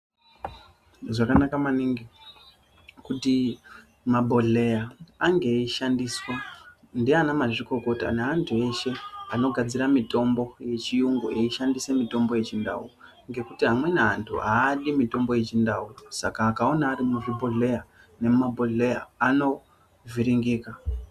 Zvakanaka maningi kuti mabhodhleya ange eyishandiswa ndeana mazvikokota ,neantu eshe anogadzira mitombo yechiyungu eyishandisa mitombo yechindau ,ngekuti amweni antu aadi mitombo yechindau Saka akawona ari muzvibhodhleya nemumabhodhleya anovhiringika.